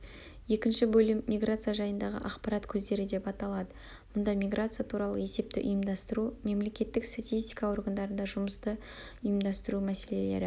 екінші бөлім миграция жайындағы ақпарат көздері деп аталады мұнда миграция туралы есепті ұйымдастыру мемлекеттік статистика органдарында жұмысты ұйымдастырумәселелері